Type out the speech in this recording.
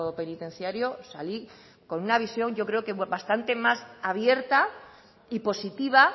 penitenciario salí con una visión yo creo que bastante más abierta y positiva